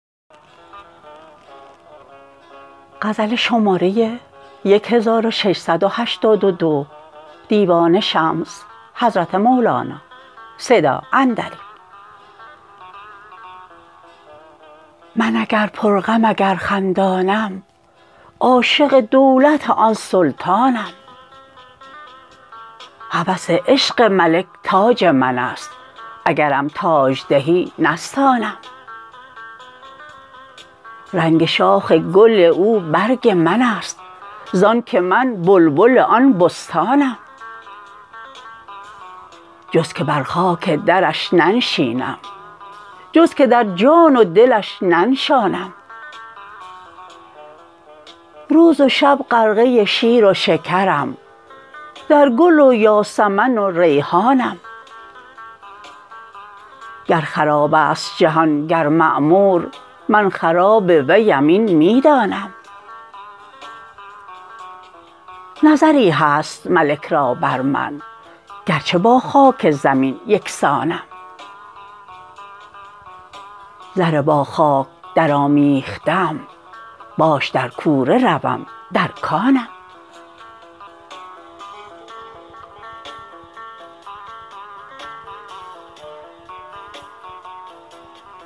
من اگر پرغم اگر خندانم عاشق دولت آن سلطانم هوس عشق ملک تاج من است اگرم تاج دهی نستانم رنگ شاخ گل او برگ من است زانک من بلبل آن بستانم جز که بر خاک درش ننشینم جز که در جان و دلش ننشانم روز و شب غرقه شیر و شکرم در گل و یاسمن و ریحانم گر خراب است جهان گر معمور من خراب ویم این می دانم نظری هست ملک را بر من گرچه با خاک زمین یک سانم زر با خاک درآمیخته ام باش در کوره روم در کانم